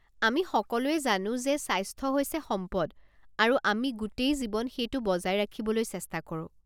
আমি সকলোৱে জানো যে স্বাস্থ্য হৈছে সম্পদ, আৰু আমি গোটেই জীৱন সেইটো বজাই ৰাখিবলৈ চেষ্টা কৰোঁ।